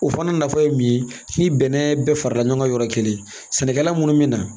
O fana nafa ye min ye ni bɛnɛ bɛɛ farala ɲɔgɔn kan yɔrɔ kelen sɛnɛkɛla minnu mina